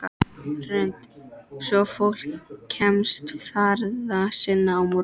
Hrund: Svo fólk kemst ferða sinna á morgun?